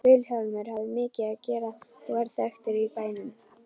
Vilhjálmur hafði mikið að gera og varð þekktur í bænum.